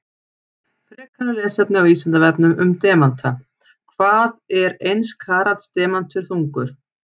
Frekara lesefni á Vísindavefnum um demanta: Hvað er eins karats demantur þungur?